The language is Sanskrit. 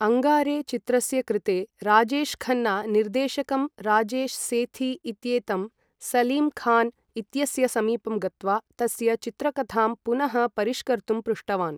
अङ्गारे चित्रस्य कृते राजेश् खन्ना निर्देशकं राजेश् सेथी इत्येतं सलीम् खान् इत्यस्य समीपं गत्वा तस्य चित्रकथां पुनः परिष्कर्तुं पृष्टवान्।